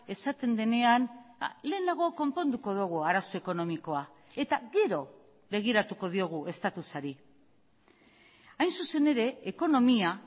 esaten denean lehenago konponduko dugu arazo ekonomikoa eta gero begiratuko diogu estatusari hain zuzen ere ekonomia